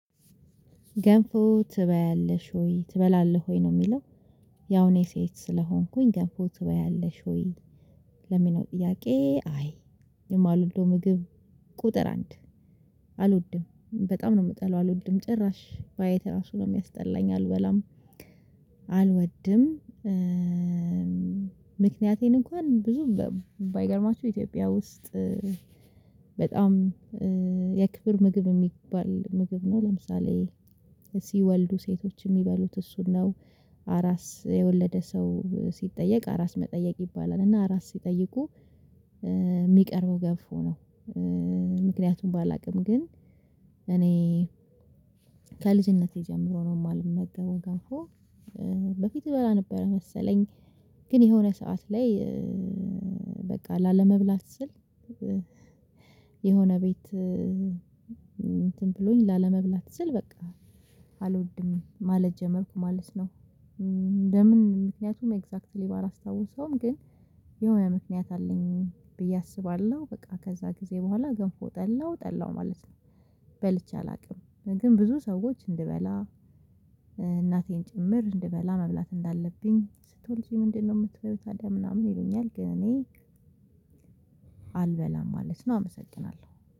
ገንፎ ትበያለሽ ወይ ትበላለህ ወይ ነው የሚለው? ያው እኔ ሴት ስለሆንኩኝ ገንፎ ትበያለሽ ወይ? ለሚለው ጥያቄ አይ የማልወደው ምግብ። ቁጥር አንድ አልወድም በጣም ነው የምጠለው። አልወድም ጭራሽ ባየት ራሱ ነው የሚያስጠላኝ አልበላም። አልወድም። ምክንያቴን እንኳን ብዙ ባይገርማችሁ ኢትዮጵያ ውስጥ። በጣም የክብር ምግብ የሚባል ምግብ ነው። ለምሳሌ ሲወልዱ ሴቶች የሚበሉት እሱን ነው። አራስ የወለደ ሰው ሲጠየቅ አራስ መጠየቅ ይባላል። እና አራስ ሲጠይቁ የሚቀርበው ገንፎ ነው። ምክንያቱም ባላቅም ግን እኔ ከልጅነቴ ጀምሮ ነው የማልመገበው ገንፎ። በፊት እበላ ነበረ መሰለኝ ግን የሆነ ሰዓት ላይ በቃ ላለመብላት ስል። የሆነ ቤት እንትን ብሎኝ ላለመብላት ስል በቃ አልወድም ማለት ጀመርኩ ማለት ነው። ለምን? ምክንያቱም ኤግዛክትሊ ባላስታውሰውም ግን የሆነ ምክንያት አለኝ ብዬ አስባለሁ። በቃ ከዛ ጊዜ በኋላ ገንፎ ጠላው ጠላው ማለት ነው። በልቼ አላውቅም ግን ብዙ ሰዎች እንድበላ እናቴን ጭምር እንድበላ መብላት እንዳለብኝ ስትወልጂ ምንድነው የምትበያው? ታዲያ ምናምን ይሉኛል ግን እኔ አልበላም ማለት ነው። አመሰግናለሁ